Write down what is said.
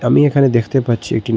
আমি এখানে দেখতে পাচ্ছি একটি নদ--